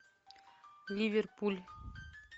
ливерпуль